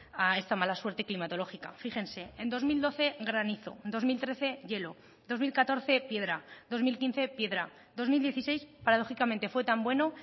a esta mala suerte climatológica fíjense en dos mil doce granizo dos mil trece hielo dos mil catorce piedra dos mil quince piedra dos mil dieciséis paradójicamente fue tan bueno